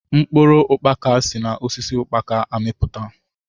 Mkpụrụ ukpaka si na osisi ukpaka amiputa.